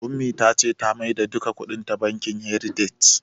Ummi ta ce ta maida duka kuɗinta bankin "heritage"